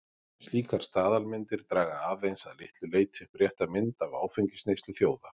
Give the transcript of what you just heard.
Slíkar staðalmyndir draga aðeins að litlu leyti upp rétta mynd af áfengisneyslu þjóða.